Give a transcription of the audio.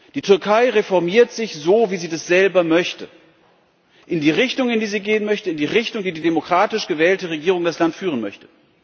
Die Türkei reformiert sich so, wie sie das selber möchte, in die Richtung, in die sie gehen möchte, in die Richtung, in die die demokratisch gewählte Regierung das Land führen möchte.